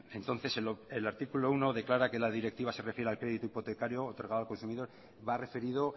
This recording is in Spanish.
entonces el artículo uno declara que la directiva se refiere al crédito hipotecario otorgado al consumidor va referido